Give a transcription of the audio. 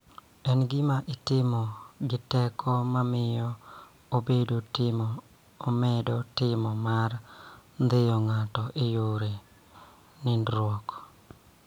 En gima itimo gi teko ma miyo obedo tim mar ndhiyo ng�ato e yor nindruok.